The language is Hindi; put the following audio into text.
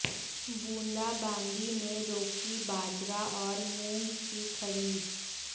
बूंदाबांदी ने रोकी बाजरा और मूंग की खरीद